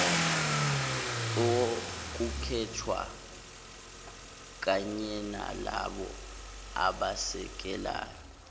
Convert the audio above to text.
okukhethwa kanyenalabo abasekelayo